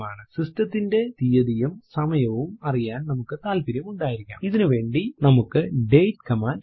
system ത്തിന്റെ തീയതിയും സമയവും അറിയാൻ നമുക്ക് താല്പര്യം ഉണ്ടായിരിക്കാംഇതിനുവേണ്ടി നമുക്ക് ഡേറ്റ് കമാൻഡ് ഉണ്ട്